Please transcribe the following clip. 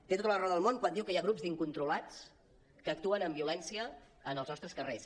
té tota la raó del món quan diu que hi ha grups d’incontrolats que actuen amb violència en els nostres carrers